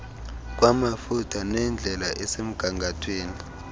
kwamafutha nendlela esemgangathweni